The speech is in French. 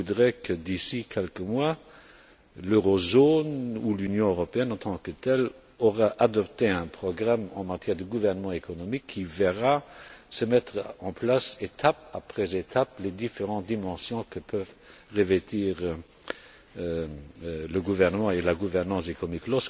Je voudrais que, d'ici quelques mois la zone euro ou l'Union européenne, en tant que telle, aient adopté un programme en matière de gouvernement économique qui verra se mettre en place, étape par étape, les différentes dimensions que peuvent revêtir le gouvernement et la gouvernance économiques.